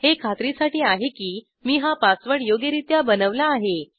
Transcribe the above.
हे खात्रीसाठी आहे की मी हा पासवर्ड योग्यरित्या बनवला आहे